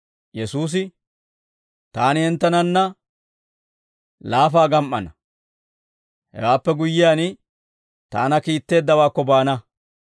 Yesuusi, «Taani hinttenanna laafaa gam"ana; hewaappe guyyiyaan, taana kiitteeddawaakko baana.